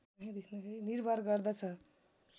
निर्भर गर्दछ